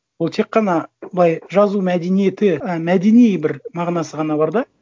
ол тек қана былай жазу мәдениеті і мәдени бір мағынасы ғана бар да